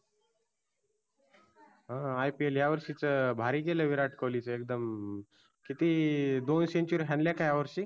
हम्म IPL या वर्षीच भारी केलं विराट कोल्हीच एकदम किती दोन century हानल्याका या वर्षी.